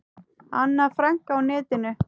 Anna Frank á netinu.